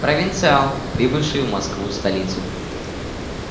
провинциал прибывший в москву-столицу